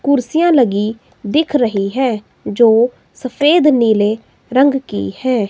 कुर्सियां लगी दिख रही हैं जो सफेद नीले रंग की हैं।